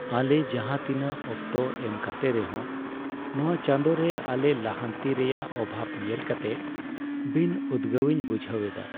ᱟᱞᱮ ᱡᱟᱦᱟᱸ ᱛᱤᱱᱟᱹᱜ ᱚᱠᱛᱚ ᱮᱢ ᱠᱟᱛᱮ ᱨᱮᱦᱚᱸ, ᱱᱚᱶᱟ ᱪᱟᱸᱫᱚ ᱨᱮ ᱟᱞᱮ ᱞᱟᱦᱟᱱᱛᱤ ᱨᱮᱭᱟᱜ ᱚᱵᱷᱟᱵ ᱧᱮᱞ ᱠᱟᱛᱮ ᱵᱤᱱᱼᱩᱫᱜᱟᱹᱣᱤᱧ ᱵᱩᱡᱷᱟᱹᱣ ᱮᱫᱟ ᱾